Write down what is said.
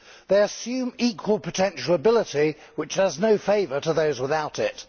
They assume equal potential ability, which does no favours to those without it.